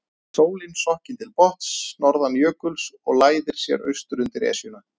Sólin sokkin til botns norðan jökuls og læðir sér austur undir Esjuna.